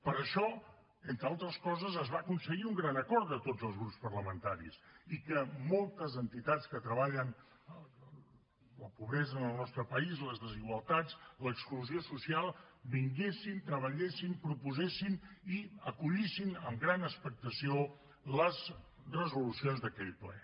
per això entre altres coses es va aconseguir un gran acord de tots els grups parlamentaris i que moltes entitats que treballen la pobresa en el nostre país les desigualtats l’exclusió social vinguessin treballessin proposessin i acollissin amb gran expectació les resolucions d’aquell ple